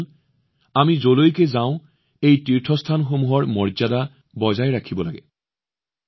বন্ধুসকল আমি যলৈকে যাওঁ এই তীৰ্থস্থানসমূহৰ মৰ্যাদা বজাই ৰাখিব লাগে